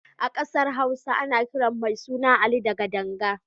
A ƙasar Hausa ana kiran mai suna Ali da Gadanga.